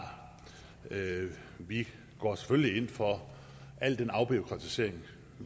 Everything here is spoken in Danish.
vi går selvfølgelig generelt ind for al den afbureaukratisering